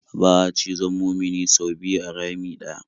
Ba'a cizon mumini sau biyu a rami ɗaya.